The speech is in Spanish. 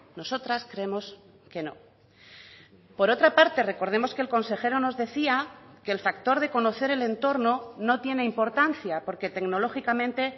nosotras creemos que no por otra parte recordemos que el consejero nos decía que el factor de conocer el entorno no tiene importancia porque tecnológicamente